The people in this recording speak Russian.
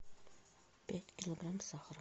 пять килограмм сахара